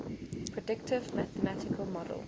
predictive mathematical model